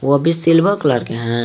वो भी silver colour के हैं।